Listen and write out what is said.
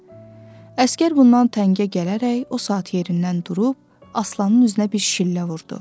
Əsgər bundan təngə gələrək o saat yerindən durub Aslanın üzünə bir şillə vurdu.